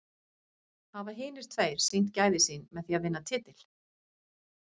Hafa hinir tveir sýnt gæði sín með því að vinna titil?